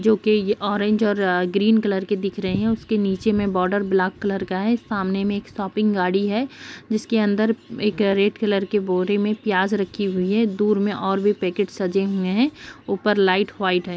जो कि ये ऑरेंज और ग्रीन कलर के दिख रहे है| उसके नीचे मे बॉर्डर ब्लैक कलर का है| सामने में एक शॉपिंग गाड़ी है जिसके अंदर एक रेड कलर के बोरे में प्याज रखी हुई है| दूर में और भी पैकेट सजे हुए हैं| ऊपर लाइट व्हाइट है।